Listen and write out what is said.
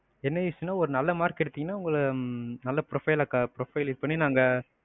என்ன use னா, ஒரு நல்ல mark எடுத்தீங்கன்னா உங்கள நல்ல profile இதுபண்ணி உங்கள நாங்க,